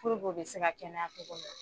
Puruke u bɛ se ka kɛnɛya cogo min na.